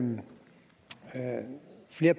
flere